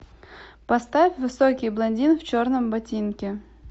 поставь высокий блондин в черном ботинке